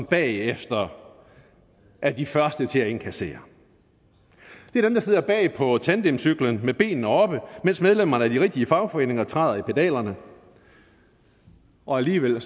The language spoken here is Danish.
bagefter er de første til at inkassere det er dem der sidder bag på tandemcyklen med benene oppe mens medlemmerne af de rigtige fagforeninger træder i pedalerne og alligevel